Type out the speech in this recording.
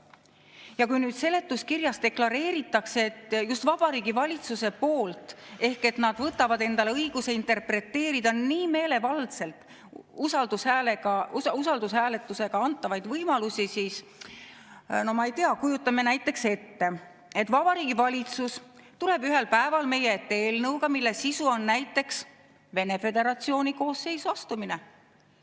Ja kui seletuskirjas deklareeritakse just Vabariigi Valitsuse poolt, et nad võtavad endale õiguse interpreteerida nii meelevaldselt usaldushääletusega antavaid võimalusi, siis, no ma ei tea, kujutame näiteks ette, et Vabariigi Valitsus tuleb ühel päeval meie ette eelnõuga, mille sisu on Venemaa Föderatsiooni koosseisu astumine.